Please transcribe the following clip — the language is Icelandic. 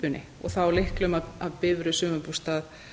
lyklakippunni og þá lyklum að bifreið sumarbústað